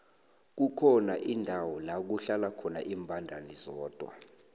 kukhona indawo lakuhlala khona imbandana zodwa